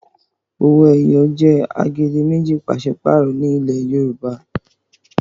owoeye jé agbedemeji paṣipaarọ ní ilè Yorùbá.